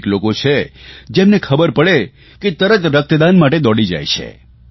અનેક લોકો જેમને ખબર પડે કે તરત રક્તદાન માટે દોડી જાય છે